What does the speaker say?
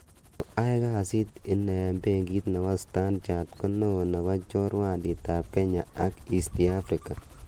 Ko ae kasit ing benkit nebo Stantchart ko neo nebo chorwandit ap kenya ak East Africa.